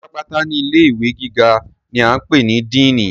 Ọ̀gá pátápátá ní ilé ìwé gíga ni a ń pè ní "Diínì".